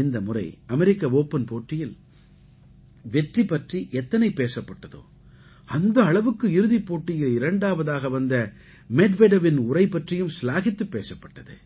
இந்த முறை America Open போட்டியில் வெற்றி பற்றி எத்தனை பேசப்பட்டதோ அந்த அளவுக்கு இறுதிப் போட்டியில் இரண்டாவதாக வந்த மெட்வெடெவின் உரை பற்றியும் சிலாகித்துப் பேசப்பட்ட்து